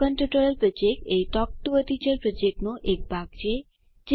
spoken tutorial project એ talk to a teacher પ્રોજેક્ટનો એક ભાગ છે